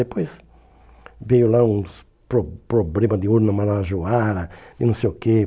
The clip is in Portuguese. Depois veio lá uns pro problema de urna marajoara e não sei o quê.